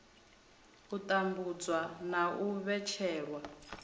u tambudzwa na u vhetshelwa